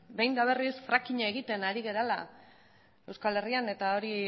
behin eta berriz frackinga egiten ari garela euskal herrian eta hori